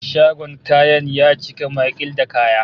Shagon kayan ya cika maƙil da kaya